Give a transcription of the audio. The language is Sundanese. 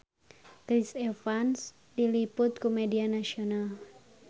Chris Evans diliput ku media nasional